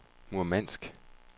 Murmansk